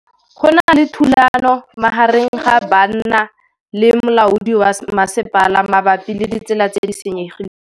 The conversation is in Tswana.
Go na le thulanô magareng ga banna le molaodi wa masepala mabapi le ditsela tse di senyegileng.